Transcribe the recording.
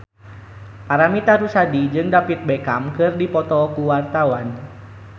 Paramitha Rusady jeung David Beckham keur dipoto ku wartawan